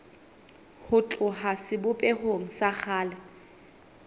ho tloha sebopehong sa kgale